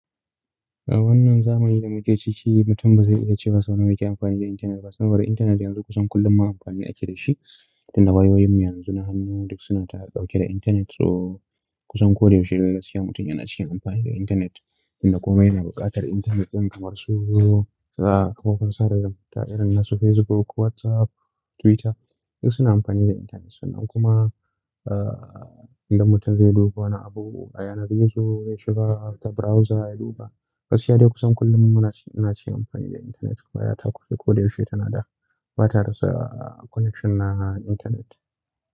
A wannan zamani da muke ciki, mutum ba zai iya cewa sau nawa yake amfani da intanet ba. Saboda intanet yanzu kusan kullum ma amfani ake dashi dunda wayoyinmu yanzu na hannu duk suna dauke da intanet. So kusan ko da yaushe dai gaskiya mutum yana cikin amfani da intanet. Dan komai yana buƙatar intanet don kamar su, kafofin sada zumunta irin su Facebook, WhatsApp, Twitter duk suna amfani da intanet. Sannan kuma, dan mutum zai duba wani abu a yanar gizo, ya shiga ta browser ya duba. Gaskiya dai kusan kullum muna cikin amfani da intanet. Wayata koda ko da yaushe tana da, ba ta rasa connection na intanet.